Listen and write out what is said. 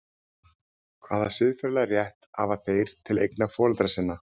Hvaða siðferðilega rétt hafa þeir til eigna foreldra sinna?